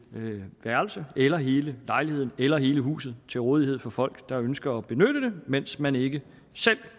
værelse eller hele lejligheden eller hele huset til rådighed for folk der ønsker at benytte det mens man ikke selv